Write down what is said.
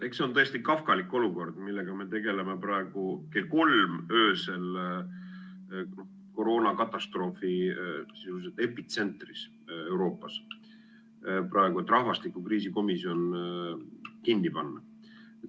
Eks see on tõesti kafkalik olukord, millega me tegeleme praegu kell kolm öösel koroonakatastroofi epitsentris Euroopas, et rahvastikukriisi komisjon kinni panna.